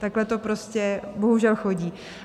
Takhle to prostě bohužel chodí.